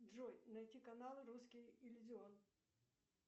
джой найти канал русский иллюзион